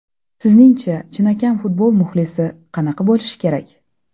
Sizningcha chinakam futbol muxlisi qanaqa bo‘lishi kerak?